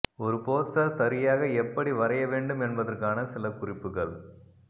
ஒரு போஸ்டர் சரியாக எப்படி வரைய வேண்டும் என்பதற்கான சில குறிப்புகள்